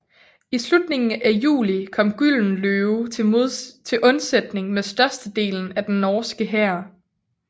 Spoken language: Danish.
I slutningen af juli kom Gyldenløve til undsætning med størstedelen af den norske hær